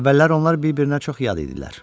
Əvvəllər onlar bir-birinə çox yad idilər.